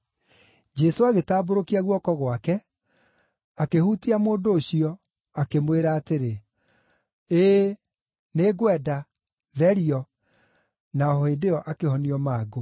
Jesũ agĩtambũrũkia guoko gwake, akĩhutia mũndũ ũcio, akĩmwĩra atĩrĩ, “Ĩĩ, nĩngwenda. Therio!” Na o hĩndĩ ĩyo akĩhonio mangũ.